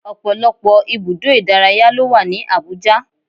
Ọ̀pọ̀lọpọ̀ ibùdó ìdárayá ló wà ní Abuja